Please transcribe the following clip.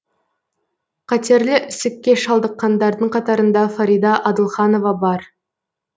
қатерлі ісікке шалдыққандардың қатарында фарида адылханова бар